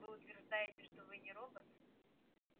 вы утверждаете что вы не робот